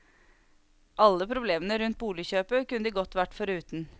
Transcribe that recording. Alle problemene rundt boligkjøpet kunne de godt være foruten.